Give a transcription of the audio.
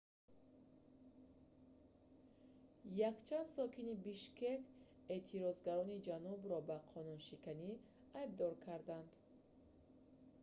якчанд сокини бишкек эътирозгарони ҷанубро ба қонуншиканӣ айбдор карданд